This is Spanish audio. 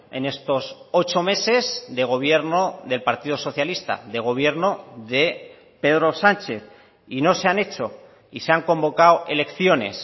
en estos ocho meses de gobierno del partido socialista de gobierno de pedro sánchez y no se han hecho y se han convocado elecciones